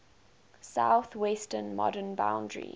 southwestern modern boundary